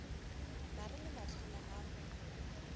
mare le mahlwana a go